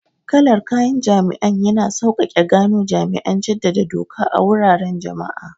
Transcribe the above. Kalar kayan jami'an yana sauƙaƙe gano jami'an jaddada doka a wuraren jama'a.